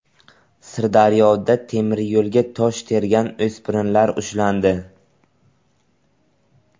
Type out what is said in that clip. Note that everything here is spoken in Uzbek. Sirdaryoda temiryo‘lga tosh tergan o‘spirinlar ushlandi.